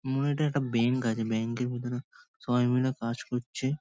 মনে হয় এটা একটা ব্যাঙ্ক আছে । ব্যাঙ্ক -এর ভেতরে সবাই মিলে কাজ করছে।